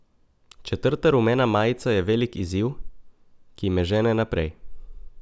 Četrta rumena majica je velik izziv, ki me žene naprej.